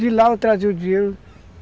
De lá eu trazia o dinheiro.